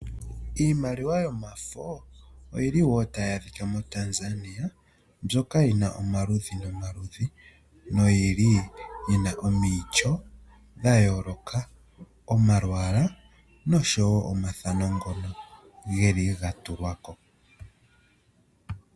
Iimaliwa yomafo oyili wo tayi adhika moTanzania, mbyoka yina omaludhi nomaludhi noyili yina omityo dha yooloka, omalwaala noshowo omathano ngono geli ga tulwa ko.